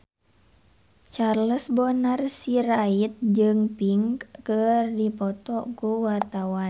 Charles Bonar Sirait jeung Pink keur dipoto ku wartawan